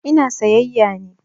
Ina sayayya ne.